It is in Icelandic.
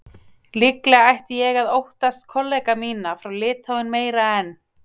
Líklega ætti ég að óttast kollega mína frá Litháen meira en